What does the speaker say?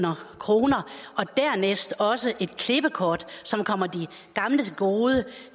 dernæst også et klippekort som kommer de gamle til gode